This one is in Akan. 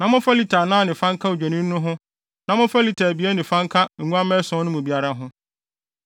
na momfa lita anan ne fa nka odwennini no ho na momfa lita abien ne fa aka nguamma ason no mu biara ho.